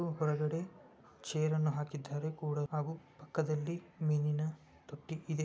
ಹಾಗೂ ಹೊರಗಡೆ ಚೇರ್ ಅನ್ನ ಹಾಕಿದ್ದಾರೆ ಕುಳಿತುಕೊಳ್ಳುವುದಕ್ಕೆ ಪಕ್ಕದಲ್ಲಿ ಮೀನಿನ ತೊಟ್ಟಿ ಇದೆ